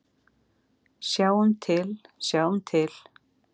Sjáum til, sjáum til.